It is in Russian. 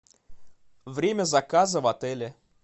время заказа в отеле